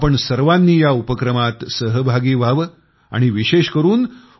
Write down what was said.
आपण सर्वांनी या उपक्रमात सहभागी व्हावे असा आग्रह मी आपणाला करू इच्छितो